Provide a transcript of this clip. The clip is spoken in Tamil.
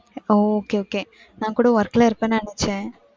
okay okay. நான் கூட work ல இருப்பேன்னு நினைச்சேன்.